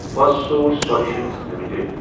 Firstsource Solutions limited